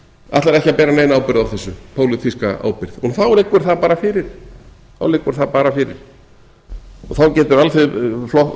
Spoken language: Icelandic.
ætlar ekki að bera neina pólitíska ábyrgð á þessu en þá liggur það bara fyrir þá geta